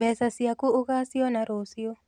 Mbeca ciaku ũgaciona rũciũ